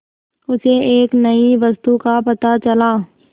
उसे एक नई वस्तु का पता चला